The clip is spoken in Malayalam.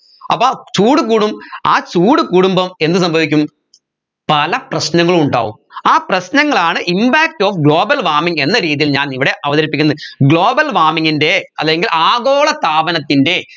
അപ്പോ ചൂട് കൂടും ആ ചൂട് കൂടുമ്പം എന്ത് സംഭവിക്കും പല പ്രശ്നങ്ങളും ഉണ്ടാവും ആ പ്രശ്നങ്ങളാണ് impact of global warming എന്ന രീതിയിൽ ഞാൻ ഇവിടെ അവതരിപ്പിക്കുന്നത് global warming ൻറെ അല്ലെങ്കിൽ ആഗോളതാപനത്തിൻെറ